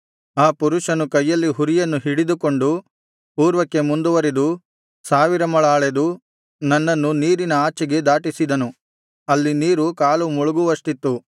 ಆ ಪುರುಷನು ಕೈಯಲ್ಲಿ ಹುರಿಯನ್ನು ಹಿಡಿದುಕೊಂಡು ಪೂರ್ವಕ್ಕೆ ಮುಂದುವರಿದು ಸಾವಿರ ಮೊಳ ಅಳೆದು ನನ್ನನ್ನು ನೀರಿನ ಆಚೆಗೆ ದಾಟಿಸಿದನು ಅಲ್ಲಿ ನೀರು ಕಾಲು ಮುಳುಗುವಷ್ಟಿತ್ತು